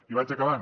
i vaig acabant